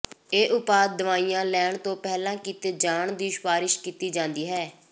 ਇਹ ਉਪਾਅ ਦਵਾਈਆਂ ਲੈਣ ਤੋਂ ਪਹਿਲਾਂ ਕੀਤੇ ਜਾਣ ਦੀ ਸਿਫਾਰਸ਼ ਕੀਤੀ ਜਾਂਦੀ ਹੈ